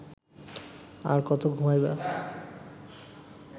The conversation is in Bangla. আর কত ঘুমাইবা